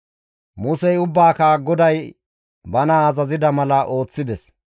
Musey ubbaaka GODAY bana azazida mala ooththides.